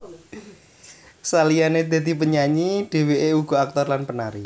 Saliyane dadi penyanyi dheweke uga aktor lan penari